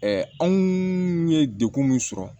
anw ye degun min sɔrɔ